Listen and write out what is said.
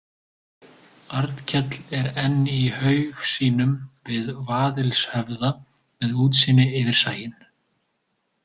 Arnkell er enn í haug sínum við Vaðilshöfða, með útsýni yfir sæinn.